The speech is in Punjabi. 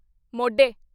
ਮੋਢੇ